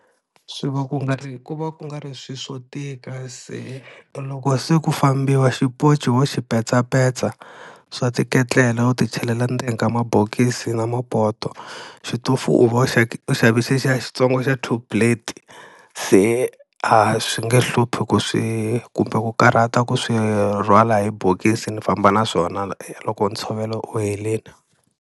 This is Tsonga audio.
Swi va ku nga ri ku va ku nga ri swilo swo tika, se loko se ku fambiwa xiponci wo xi petsapetsa, swa tiketlela u ti chelela endzeni ka mabokisi na mapoto. Xitofu u u xave xexiya xitsongo xa two plate. Se a swi nge hluphi ku swi kumbe ku karhata ku swi rhwala hi bokisi ni famba na swona loko ntshovelo u helini.